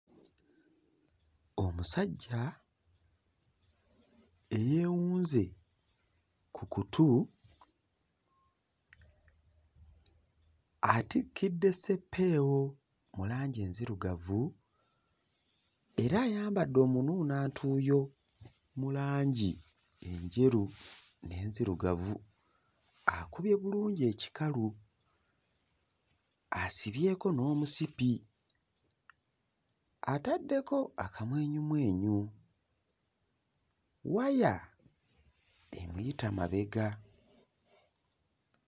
Omusajja eyeewunze ku kutu atikkidde ssepeewo mu langi enzirugavu era ayambadde omunuunantuuyo mu langi enjeru n'enzirugavu, akubye bulungi ekikalu asibyeko n'omusipi, ataddeko akamwenyumwenyu, waya emuyita mabega.